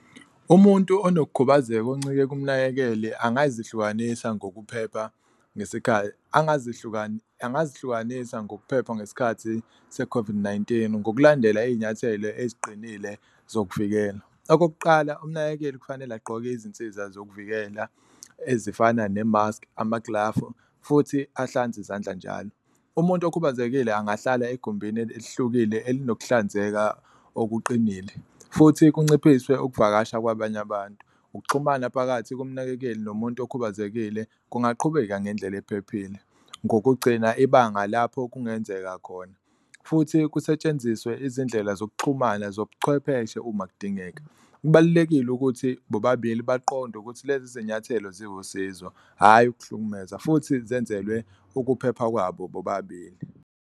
Umuntu onokukhubazeka oncike kumnakekeli angazihlukanisa ngokuphepha ngesikhathi angazi angazi hlukanisa ngokuphepha ngesikhathi se-COVID-19, ngokulandela iy'nyathelo eziqinile zokuvikela. Okokuqala, umnakekeli kufanele agqoke izinsiza zokuvikela ezifana nemaski, amaglavu futhi ahlanze izandla njalo, umuntu okhubazekile angahlala egumbini elihlukile elinokuhlanzeka okuqinile futhi kunciphiswe ukuvakasha kwabanye abantu. Ukuxhumana phakathi komnakekeli nomuntu okhubazekile kungaqhubeka ngendlela ephephile, ngokugcina ibanga lapho kungenzeka khona futhi kusetshenziswe izindlela zokuxhumana zobuchwepheshe uma kudingeka. Kubalulekile ukuthi bobabili baqonde ukuthi lezi zinyathelo ziwusizo, hhayi ukuhlukumeza futhi zenzelwe ukuphepha kwabo bobabili.